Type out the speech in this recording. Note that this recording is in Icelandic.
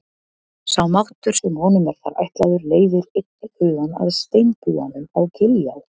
Sá máttur sem honum er þar ætlaður leiðir einnig hugann að steinbúanum á Giljá.